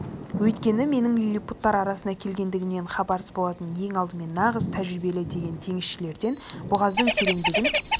өйткені менің лиллипуттар арасына келгендігімнен хабарсыз болатын ең алдымен нағыз тәжірибелі деген теңізшілерден бұғаздың тереңдігін